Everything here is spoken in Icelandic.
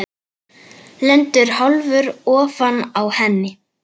Lendir hálfur ofan á henni.